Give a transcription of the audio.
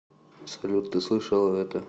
салют ты слышала это